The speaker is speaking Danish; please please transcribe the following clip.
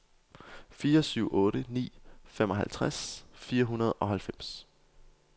fire syv otte ni femoghalvtreds fire hundrede og halvfems